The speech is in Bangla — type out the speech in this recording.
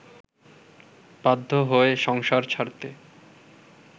বাধ্য হয় সংসার ছাড়তে